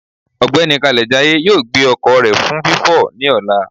Ọgbẹni Kalejaye yóò gbe ọkọ rẹ fun fifọ ni ọla.